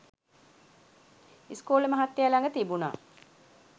ඉස්කෝලෙ මහත්තයා ලග තිබුනා